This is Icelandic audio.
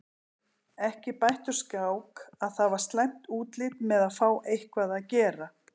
Ekki bætti úr skák að það var slæmt útlit með að fá eitthvað að gera.